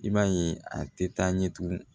I b'a ye a tɛ taa ɲɛ tugun